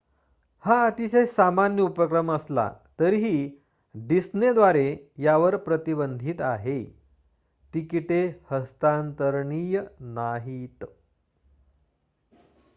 हा अतिशय सामान्य उपक्रम असला तरीही डिस्नेद्वारे यावर प्रतिबंधित आहे तिकिटे हस्तांतरणीय नाहीत